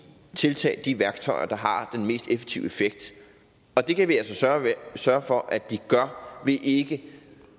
tiltag de værktøjer der har den mest effektive effekt og det kan vi altså sørge for at de gør ved at ikke